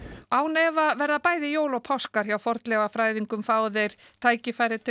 án efa verða bæði jól og páskar hjá fornleifafræðingum fái þeir tækifæri til